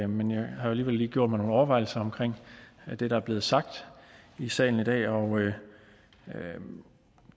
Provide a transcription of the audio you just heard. men jeg har alligevel lige gjort mig nogle overvejelser omkring det der er blevet sagt i salen i dag og